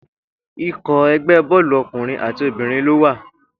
Ikọ̀ ẹgbẹ́ bọ́ọ̀lù ọkùnrin àti obìnrin ló wà